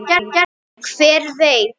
Hver veit?